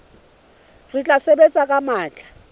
re tla sebetsa ka matla